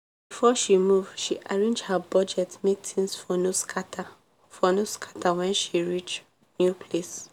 before she move she arrange her budget make things for no scatter for no scatter when she reach new place.